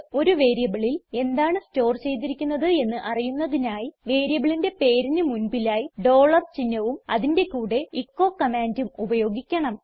ഒരു വേരിയബിളിൽ എന്താണ് സ്റ്റോർ ചെയ്തിരിക്കുന്നത് എന്ന് അറിയുന്നതിനായി വേരിയബിളിന്റെ പേരിന് മുൻപിലായി ഡോളർ ചിഹ്നവും അതിന്റെ കൂടെ എച്ചോ കമാൻഡും ഉപയോഗിക്കണം